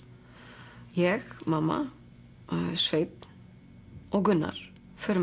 ég mamma Sveinn og Gunnar förum